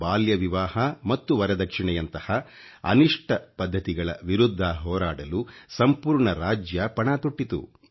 ಬಾಲ್ಯ ವಿವಾಹ ಮತ್ತು ವರದಕ್ಷಿಣೆಯಂಥ ಅನಿಷ್ಟ ಪದ್ಧತಿಗಳ ವಿರುದ್ಧ ಹೋರಾಡಲು ಸಂಪೂರ್ಣ ರಾಜ್ಯ ಪಣ ತೊಟ್ಟಿತು